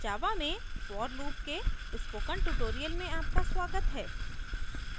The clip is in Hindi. java में for loop के spoken tutorial में आपका स्वागत है